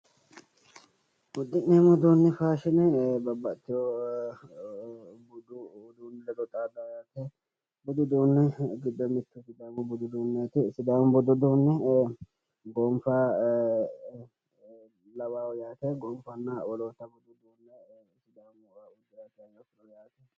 Budu uduuni faashine babbaxewo budu uduuni ledo xadawo yaate budu uduuni giddo mittu sidaamu budu uduuneti lawishshaho gonifa lawao yaate gonifanna woloota lawao yaate